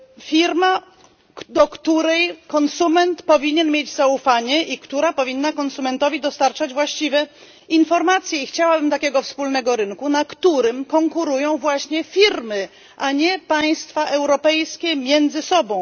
firma, do której konsument powinien mieć zaufanie i która powinna konsumentowi dostarczać właściwe informacje i chciałabym takiego wspólnego rynku, na którym konkurują właśnie firmy, a nie państwa europejskie między sobą.